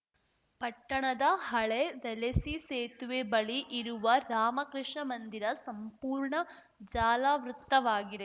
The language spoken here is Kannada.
ಪಟ್ಟಣದ ಹಳೇ ವೆಲೆಸಿ ಸೇತುವೆ ಬಳಿ ಇರುವ ರಾಮಕೃಷ್ಣ ಮಂದಿರ ಸಂಪೂರ್ಣ ಜಾಲಾವೃತ್ತವಾಗಿದೆ